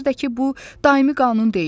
Bir də ki bu daimi qanun deyil.